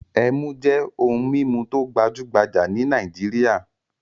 Ẹmu jẹ́ ohun-mímu tó gbajú-gbajà ní Nàìjíríà.